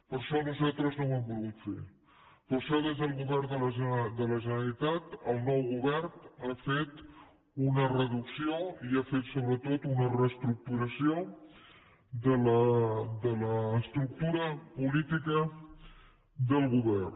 per això nosaltres no ho hem volgut fer per això el govern de la generalitat el nou govern ha fet una reducció i ha fet sobretot una reestructuració de l’estructura política del govern